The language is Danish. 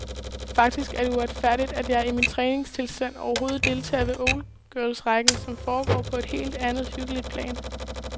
Faktisk er det uretfærdigt, at jeg i min træningstilstand overhovedet deltager ved oldgirlsrækken, som foregår på et helt andet, hyggeligt plan.